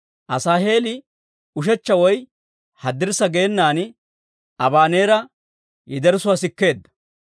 Asaaheeli ushechcha woy haddirssa geenan Abaneera yederssuwaa sikkeedda.